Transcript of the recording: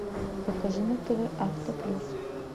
покажи на тв авто плюс